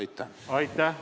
Aitäh!